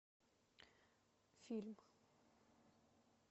фильм